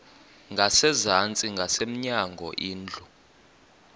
ngasezantsi ngasemnyango indlu